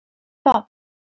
Þ